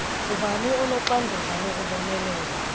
ngubani onoxanduva lokubonelela